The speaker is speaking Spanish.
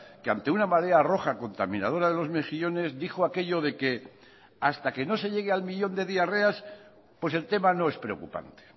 que ante una marea roja contaminadora de los mejillones dijo aquello de que hasta que no se llegué al millón de diarreas pues el tema no es preocupante